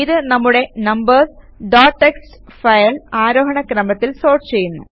ഇത് നമ്മുടെ numbers dot TXT file ആരോഹണ ക്രമത്തിൽ സോർട്ട് ചെയ്യുന്നു